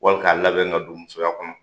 Wali k'a labɛn ka don musoya kɔnɔ